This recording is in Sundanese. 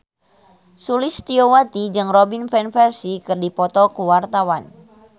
Sulistyowati jeung Robin Van Persie keur dipoto ku wartawan